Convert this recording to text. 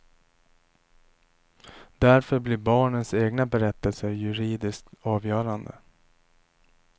Därför blir barnens egna berättelser juridiskt avgörande.